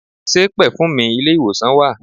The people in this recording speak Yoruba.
Ṣe pẹ̀fùmì ilé ìwòsàn wà?